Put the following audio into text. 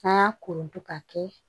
An y'a kolonton ka kɛ